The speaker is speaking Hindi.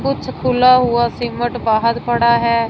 कुछ खुल हुआ सीमेंट बाहर पड़ा है।